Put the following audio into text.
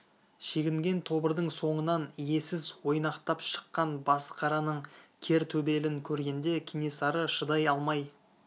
шегінген тобырдың соңынан иесіз ойнақтап шыққан басықараның кер төбелін көргенде кенесары шыдай алмай